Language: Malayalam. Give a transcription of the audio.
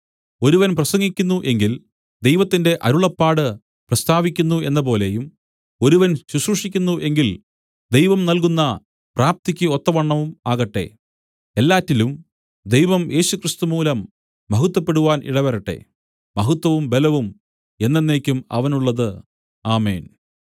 ഒരുവൻ പ്രസംഗിക്കുന്നു എങ്കിൽ ദൈവത്തിന്റെ അരുളപ്പാട് പ്രസ്താവിക്കുന്നു എന്നപോലെയും ഒരുവൻ ശുശ്രൂഷിക്കുന്നു എങ്കിൽ ദൈവം നല്കുന്ന പ്രാപ്തിയ്ക്ക് ഒത്തവണ്ണവും ആകട്ടെ എല്ലാറ്റിലും ദൈവം യേശുക്രിസ്തു മൂലം മഹത്വപ്പെടുവാൻ ഇടവരട്ടെ മഹത്വവും ബലവും എന്നെന്നേക്കും അവനുള്ളത് ആമേൻ